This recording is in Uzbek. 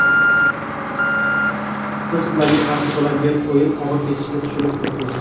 Biz ularga qarshi bo‘ladigan o‘yin og‘ir kechishini tushunib turibmiz.